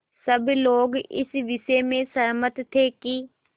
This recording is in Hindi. सब लोग इस विषय में सहमत थे कि